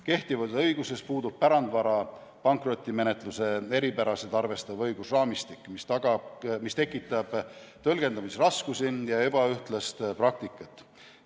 Kehtivas õiguses puudub pärandvara pankrotimenetluse eripärasid arvestav õigusraamistik, mis tekitab tõlgendamisraskusi ja ebaühtlast praktikat.